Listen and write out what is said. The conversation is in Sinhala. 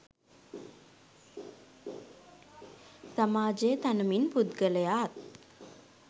සමාජය තනමින් පුද්ගලයාත්